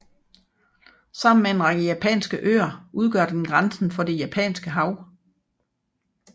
Sammen med en række japanske øer udgør den grænsen for det Japanske Hav